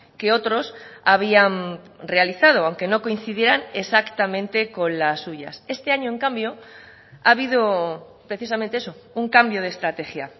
que otros habían realizado aunque no coincidieran exactamente con las suyas este año en cambio ha habido precisamente eso un cambio de estrategia